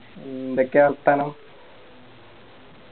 എന്തൊക്കെയാ വർത്താനം